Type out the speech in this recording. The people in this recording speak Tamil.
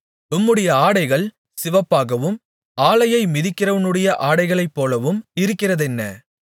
உம்முடைய ஆடைகள் சிவப்பாகவும் ஆலையை மிதிக்கிறவனுடைய ஆடைகளைப்போலவும் இருக்கிறதென்ன